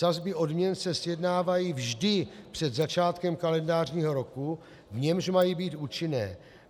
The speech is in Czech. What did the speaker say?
Sazby odměn se sjednávají vždy před začátkem kalendářního roku, v němž mají být účinné.